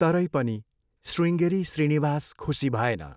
तरै पनि श्रीङ्गेरी श्रीनिवास खुसी भएन।